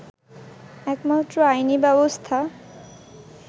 একমাত্র আইনি ব্যবস্থা